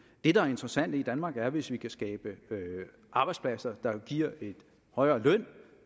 det der er interessant i danmark er hvis vi kan skabe arbejdspladser der jo giver en højere løn